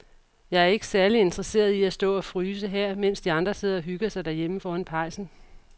Jeg er ikke særlig interesseret i at stå og fryse her, mens de andre sidder og hygger sig derhjemme foran pejsen.